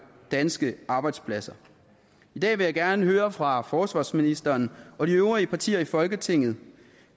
danske arbejdspladser i dag vil jeg gerne høre fra forsvarsministeren og de øvrige partier i folketinget